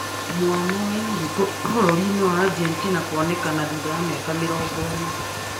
Mwana aiĩtwe bũrũrinĩ wa Argentina kwonekana thutha wa mĩaka mĩrongo ĩna